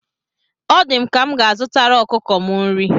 O di m ka m ga-azutara ọkụkọ m nri.